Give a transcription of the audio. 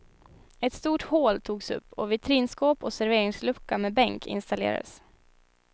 Ett stort hål togs upp och vitrinskåp och serveringslucka med bänk installerades.